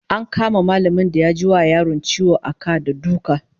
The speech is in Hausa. An kama mallamin da ya ji wa yaron ciwo a ka da duka